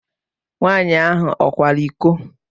Nwaanyị ahụ ọ kwara iko?